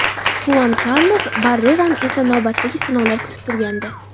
Xuan Karlos Barrerani esa navbatdagi sinovlar kutib turgandi.